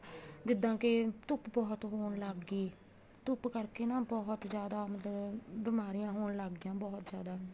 ਜਿੱਦਾਂ ਕੇ ਧੁੱਪ ਬਹੁਤ ਹੋਣ ਲੱਗ ਗਈ ਧੁੱਪ ਕਰਕੇ ਨਾ ਬਹੁਤ ਜਿਆਦਾ ਮਤਲਬ ਬਿਮਾਰੀਆਂ ਹੋਣ ਲੱਗ ਗਈਆਂ ਬਹੁਤ ਜਿਆਦਾ